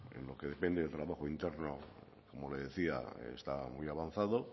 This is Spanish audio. en lo que depende del trabajo interno como le decía está muy avanzado